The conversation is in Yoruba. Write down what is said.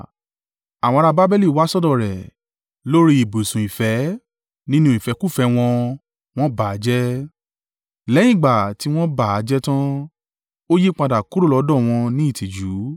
Àwọn ará Babeli wá sọ́dọ̀ rẹ̀, lórí ibùsùn ìfẹ́, nínú ìfẹ́kúfẹ̀ẹ́ wọn, wọ́n bà á jẹ́. Lẹ́yìn ìgbà tí wọ́n bà á jẹ́ tán, ó yípadà kúrò lọ́dọ̀ wọn ní ìtìjú.